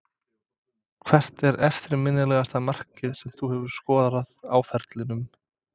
Hvert er eftirminnilegasta markið sem þú hefur skorað á ferlinum?